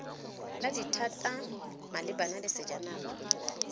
la dithata malebana le sejanaga